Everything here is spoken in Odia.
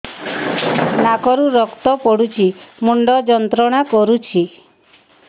ନାକ ରୁ ରକ୍ତ ପଡ଼ୁଛି ମୁଣ୍ଡ ଯନ୍ତ୍ରଣା କରୁଛି